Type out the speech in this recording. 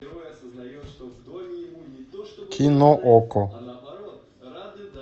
кино окко